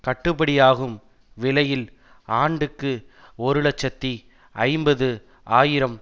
கட்டுபடியாகும் விலையில் ஆண்டுக்கு ஒரு இலட்சத்தி ஐம்பது ஆயிரம்